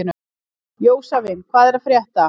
Jósavin, hvað er að frétta?